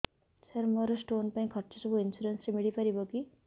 ସାର ମୋର ସ୍ଟୋନ ପାଇଁ ଖର୍ଚ୍ଚ ସବୁ ଇନ୍ସୁରେନ୍ସ ରେ ମିଳି ପାରିବ କି